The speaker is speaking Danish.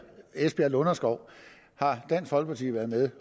lunderskov har dansk folkeparti været med